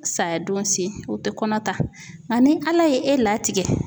Saya don se u tɛ kɔnɔ ta nka ni Ala ye e latigɛ